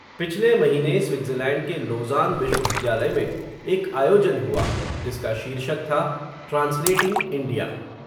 पिछले महीने, स्विट्ज़रलैंड के, लोज़ान विश्वविद्यालय में, एक आयोजन हुआ, जिसका शीर्षक था, ट्रांसलेटिंग इंडिया